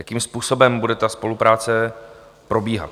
Jakým způsobem bude ta spolupráce probíhat?